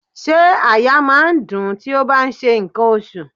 Ṣé àyà máa ń dùn-ún tí ó bá ń ṣe ǹkan oṣù?